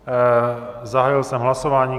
Zahájil jsem hlasování.